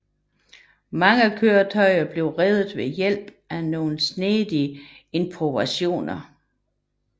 Mange køretøjer blev reddet ved hjælp af nogle snedige improvisationer